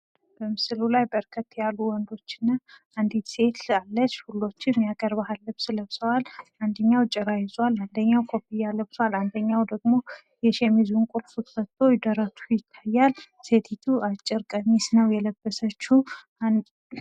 በምስሉ ላይ በርከት ያሉ ወንዶች እና አንድ ሴት አለች። ሁሎችም የአገር ባህል ልብስ ለብሰዋል። አንደኛዉ ጭራ ይዟል። አንደኛዉ ኮፊያ ለብሷል ።አንደኛዉ ደግሞ የሸሚዙን ቁልፍ ፈቶ ደረቱ ይታያል። ሴቲቱ ደግሞ አጭር ቀሚስ ነዉ የለበሰችዉ።